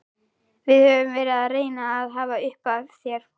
Við höfum verið að reyna að hafa upp á þér.